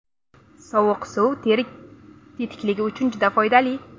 Sovuq suv teri tetikligi uchun juda foydali.